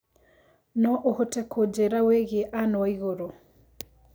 No ũhote kũnjĩira wĩigie Ann waiguru